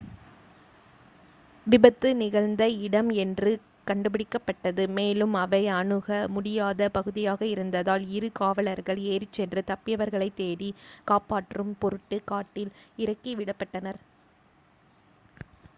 விபத்து நிகழ்ந்த இடம் இன்று கண்டுபிடிக்கப்பட்டது மேலும் அவை அணுக முடியாத பகுதியாக இருந்ததால் இரு காவலர்கள் ஏறிச்சென்று தப்பியவர்களை தேடி காப்பாற்றும் பொருட்டு காட்டில் இறக்கி விடப்பட்டனர்